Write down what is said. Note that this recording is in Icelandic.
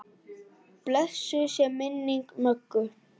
Blessuð sé minning Möggu.